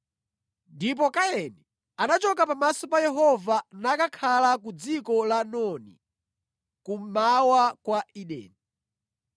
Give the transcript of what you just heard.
Ndipo Kaini anachoka pamaso pa Yehova nakakhala ku dziko la Nodi, kummawa kwa Edeni.